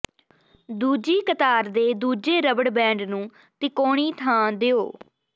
ਦੂਜੀ ਕਤਾਰ ਦੇ ਦੂਜੇ ਰਬੜ ਬੈਂਡ ਨੂੰ ਤਿਕੋਣੀ ਥਾਂ ਦਿਓ